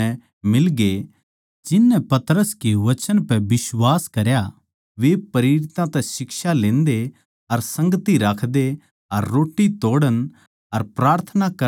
जिननै पतरस के वचन पै बिश्वास करया वे प्रेरितां तै शिक्षा लेन्दे अर संगति राखदे अर रोट्टी तोड़ण अर प्रार्थना करण म्ह मग्न रहे